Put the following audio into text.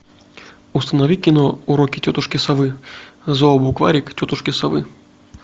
установи кино уроки тетушки совы зообукварик тетушки совы